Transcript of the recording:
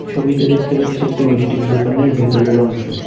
ছবিতে দেখতে পাচ্ছি একটি মিষ্টির দোকানের ভেতরের অংশ।